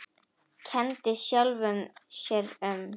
Kenndi sjálfum sér um.